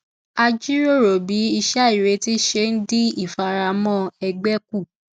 a jíròrò bí iṣẹ àìrètí ṣe dín ìfaramọ ẹgbẹ kù